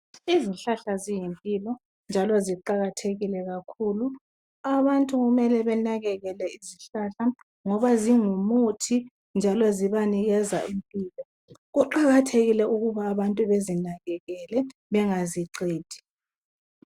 Izihlahla ziyimpilo njalo ziqakathekile kakhulu. Abantu kumele benakekele izihlahla ngoba zingumuthi, njalo zibanikeza impilo. Kuqakathekile ukuthi abantu bezinakekele njalo bengaziqedi.